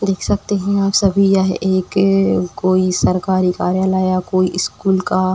देख सकते हैं आप सभी यह एक कोई सरकारी कार्यालय या कोई इस्कूल का --